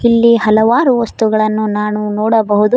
ಇಲ್ಲಿ ಹಲವಾರು ವಸ್ತುಗಳನ್ನು ನಾನು ನೋಡಬಹುದು.